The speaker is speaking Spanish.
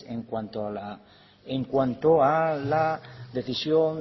en cuanto a la decisión